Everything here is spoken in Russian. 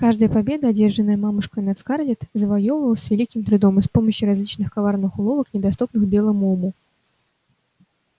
каждая победа одержанная мамушкой над скарлетт завоёвывалась с великим трудом и с помощью различных коварных уловок недоступных белому уму